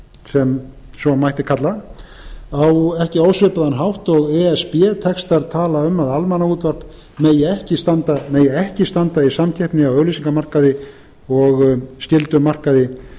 sem svo mætti kalla á ekki ósvipaðan hátt og e s b tekst að tala um að almannaútvarp megi ekki standa í samkeppni á auglýsingamarkaði og skyldum markaði